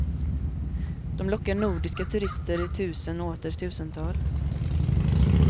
De lockar nordiska turister i tusen och åter tusental.